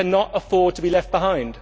We cannot afford to be left behind.